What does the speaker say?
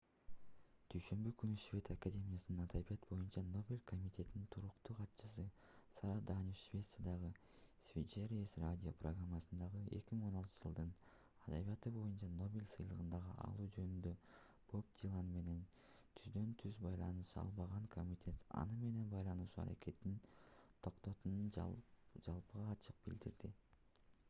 дүйшөмбү күнү швед академиясынын адабият боюнча нобель комитетинин туруктуу катчысы сара даниус швециядагы sveriges radio программасында 2016-жылдын адабияты боюнча нобель сыйлыгын алуу жөнүндө боб дилан менен түздөн-түз байланыша албаган комитет аны менен байланышуу аракетин токтотконун жалпыга ачык билдирди